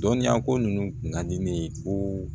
Dɔnniyako ninnu kun ka di ne ye ko